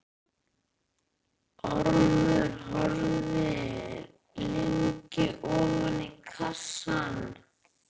Ormur horfði lengi ofan í kassann.